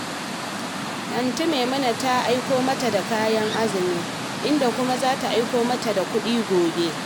Antin Maimuna ta aiko mata da kayan azumi, inda kuma za ta aiko mata da kuɗi gobe